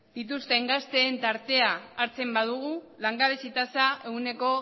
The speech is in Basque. dituzten gazteen tartea hartzen badugu langabezi tasa ehuneko